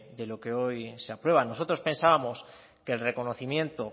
de lo que hoy se aprueban nosotros pensábamos que el reconocimiento